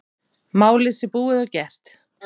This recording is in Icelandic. Málið sé búið og gert.